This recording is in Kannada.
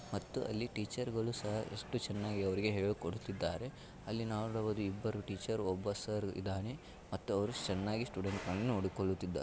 ಮತ್ತು ಅಲ್ಲಿ ಟೀಚರ್ಗಳು ಸಹ ಎಷ್ಟು ಚೆನ್ನಾಗಿ ಅವರಿಗೆ ಹೇಳಿಕೊಡುತ್ತಿದ್ದಾರೆ. ಅಲ್ಲಿ ನಾಲ್ವರು ಇಬ್ಬರು ಟೀಚರ್ ಒಬ್ಬ ಸರ್ ಇದ್ದಾನೆ ಮತ್ತು ಅವರು ಚೆನ್ನಾಗಿ ಸ್ಟುಡೆಂಟನ್ನು ನೋಡಿಕೊಳ್ಳುತ್ತಿದ್ದಾರೆ.